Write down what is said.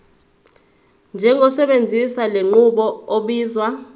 njengosebenzisa lenqubo obizwa